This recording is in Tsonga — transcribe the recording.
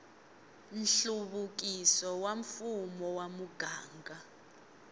nhluvukiso wa mfumo wa muganga